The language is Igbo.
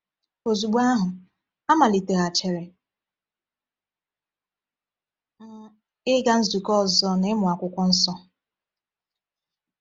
“Ozugbo ahụ, amaliteghachiri m ịga nzukọ ọzọ na ịmụ Akwụkwọ Nsọ.”